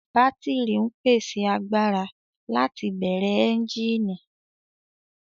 Bátírì ń pèsè agbára láti bẹ̀rẹ̀ ẹ́ńjíìnì